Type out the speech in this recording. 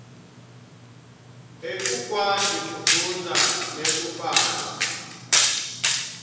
ekukwati kufundza nekubhala